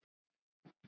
En þið fljúgið víðar?